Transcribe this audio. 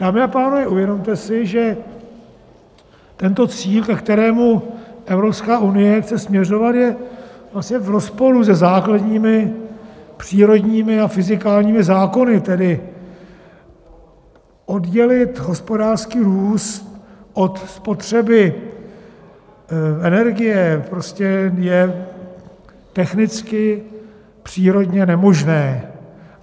Dámy a pánové, uvědomte si, že tento cíl, ke kterému Evropská unie chce směřovat, je vlastně v rozporu se základními přírodními a fyzikálními zákony, tedy oddělit hospodářský růst od spotřeby energie prostě je technicky, přírodně nemožné.